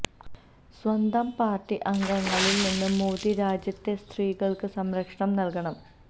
സ്വന്തം പാര്ട്ടി അംഗങ്ങളില് നിന്ന് മോദി രാജ്യത്തെ സ്ത്രീകള്ക്ക് സംരക്ഷണം നല്കണം